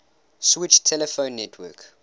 switched telephone network